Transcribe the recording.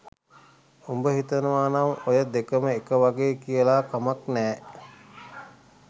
උඹ හිතනව නම් ඔය දෙකම එක වගේ කියල කමක් නෑ